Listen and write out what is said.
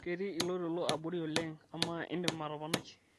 ketii ilo toilo abori oleng amaa indim atoponai